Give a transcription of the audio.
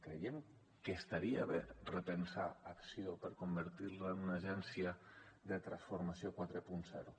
creiem que estaria bé repensar acció per convertir la en una agència de transformació quaranta